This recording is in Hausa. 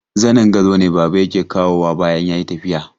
Zanin gado ne baba yake kawowa bayan ya yi tafi.